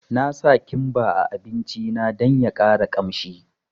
Na sa kimba a abinci na dan ya ƙara kamshi